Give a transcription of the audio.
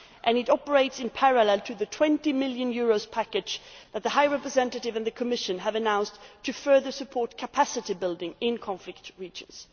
It operates in parallel to the EUR 20 million package that the High Representative and the Commission have announced to further support capacity building in conflict regions.